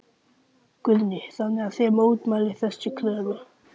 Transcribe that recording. Guðný: Þannig að þið mótmælið þessari kröfu?